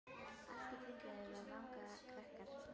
Allt í kringum þau vanga krakkar.